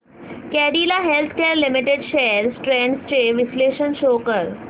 Cadila healthcare limited shares trends चे विश्लेषण show कर